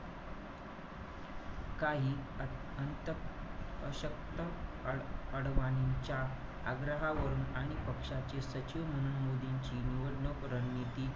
काही अंत~ अशक्त अडवाणींच्या आग्रहावरून आणि पक्षाचे सचिव म्हणून मोदींची निवडणूक रणनीती,